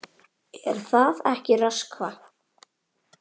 Er það ekki, Röskva?